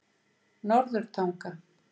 Norðurtanga